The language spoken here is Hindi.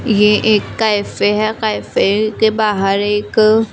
यह एक कैफे है कैफे के बाहर एक--